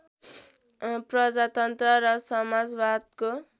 प्रजातन्त्र र समाजवादको